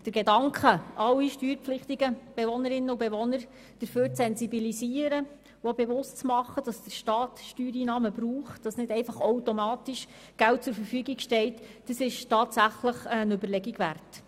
Der Gedanke, alle steuerpflichtigen Bewohnerinnen und Bewohner dafür zu sensibilisieren und bewusst zu machen, dass der Staat auf Steuereinnahmen angewiesen ist und nicht einfach automatisch Geld zur Verfügung steht, ist tatsächlich eine Überlegung wert.